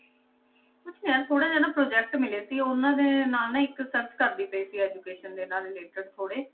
ਕੁਛ ਨੀ ਯਾਰ ਥੋੜ੍ਹਾ ਜਿਹਾ ਨਾ project ਮਿਲਿਆ ਸੀ, ਉਹਨਾਂ ਦੇ ਨਾਲ ਨਾ ਇੱਕ search ਕਰਦੀ ਪਈ ਸੀ education ਦੇ ਨਾਲ related ਥੋੜ੍ਹੇ,